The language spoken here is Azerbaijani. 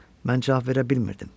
Mən cavab verə bilmirdim.